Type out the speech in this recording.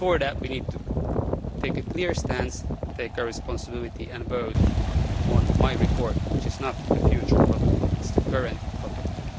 But, before that, we need to take a clear stance, live up to our responsibilities and vote on my report which is not on a future protocol, it is on the current protocol.